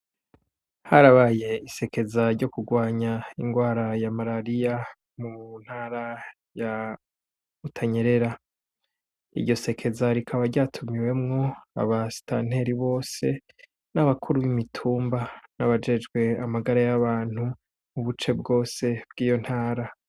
Harabaye isekeza ryo kurwanya ingwara ya malariya mu ntara ya utanyerera iryo sekeza rikaba ryatumiwemwo aba sitanteri bose n'abakuru b'imitumba n'abajejwe amagara y'abantu u buce bwose bw'iyo ntara.